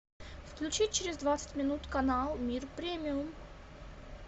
включи через двадцать минут канал мир премиум